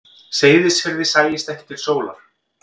Seyðisfirði sæist ekki til sólar.